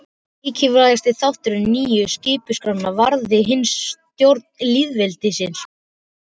Mikilvægasti þáttur nýju skipulagsskrárinnar varðaði hinsvegar stjórn lýðveldisins.